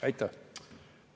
Aitäh!